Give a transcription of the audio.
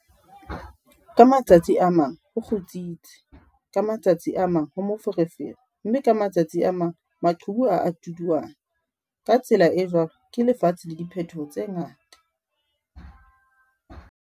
Ka matsatsi a mang ho kgutsitse, ka ma tsatsi a mang ho moferefere mme ka matsatsi a mang maqhubu a a tuduana, ka tsela e jwalo ke lefatshe la diphetoho tse ngata!